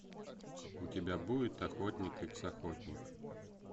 у тебя будет охотник икс охотник